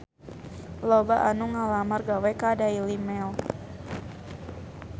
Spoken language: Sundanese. Loba anu ngalamar gawe ka Daily Mail